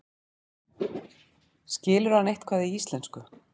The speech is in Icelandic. Skilur hann eitthvað í íslensku?